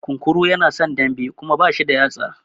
Kunkuru yana son dambe Kuma bashi da yatsa.